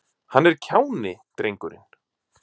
Hann er kjáni, drengurinn.